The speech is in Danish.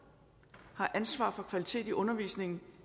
har ansvaret for kvaliteten i undervisningen